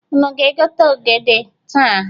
Unu ga-egote ogede taa?